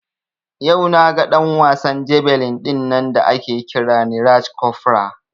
Yau naga ɗan wasan jabelin dinnan da ake kira Neeraj Cofra